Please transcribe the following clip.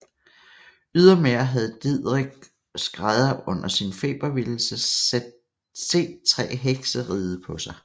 Ydermere havde Didrik skrædder under sin febervildelse set tre hekse ride på sig